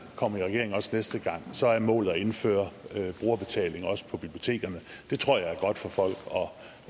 kommer i regering også næste gang så er målet at indføre brugerbetaling også på bibliotekerne det tror jeg er godt for folk